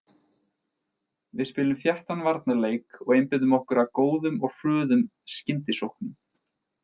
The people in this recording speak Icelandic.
Við spilum þéttan varnarleik og einbeitum okkar að góðum og hröðum skyndisóknum.